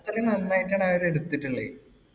അത്രേം നന്നായിട്ടാണ് അവരെടുത്തിട്ട്ള്ളത്.